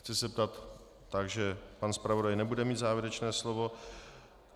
Chci se zeptat - takže pan zpravodaj nebude mít závěrečné slovo?